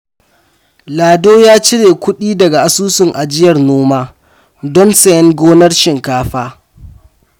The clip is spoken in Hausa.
Lado ya cire kudi daga Asusun Ajiyar Noma don sayen gonar shinkafa.